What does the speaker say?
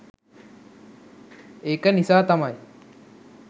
ඒක නිසා තමයි